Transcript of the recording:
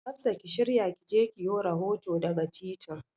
Hafsa ki shirya ki je ki yo rahoto daga titin.